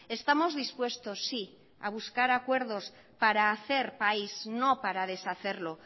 estamos dispuestos sí a buscar acuerdos para hacer país no para deshacerlo